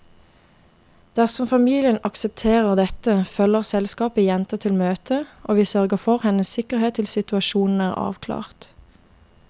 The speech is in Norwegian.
Dersom familien aksepterer dette, følger selskapet jenta til møtet, og vi sørger for hennes sikkerhet til situasjonen er avklart.